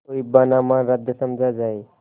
तो हिब्बानामा रद्द समझा जाय